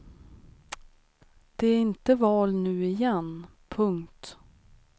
Det är inte val nu igen. punkt